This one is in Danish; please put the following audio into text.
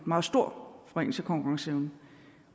meget stor forringelse af konkurrenceevnen